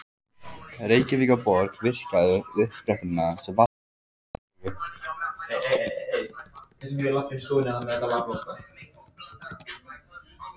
Reykjavíkurborg virkjaði uppsprettuna sem vatnið var fengið úr.